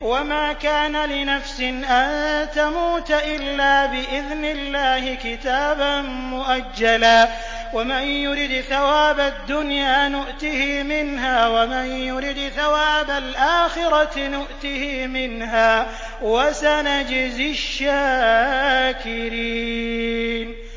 وَمَا كَانَ لِنَفْسٍ أَن تَمُوتَ إِلَّا بِإِذْنِ اللَّهِ كِتَابًا مُّؤَجَّلًا ۗ وَمَن يُرِدْ ثَوَابَ الدُّنْيَا نُؤْتِهِ مِنْهَا وَمَن يُرِدْ ثَوَابَ الْآخِرَةِ نُؤْتِهِ مِنْهَا ۚ وَسَنَجْزِي الشَّاكِرِينَ